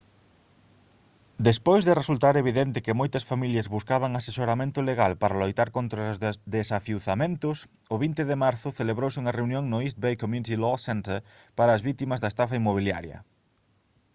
despois de resultar evidente que moitas familias buscaban asesoramento legal para loitar contra os desafiuzamentos o 20 de marzo celebrouse unha reunión no east bay community law center para as vítimas da estafa inmobiliaria